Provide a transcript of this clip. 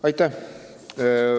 Aitäh!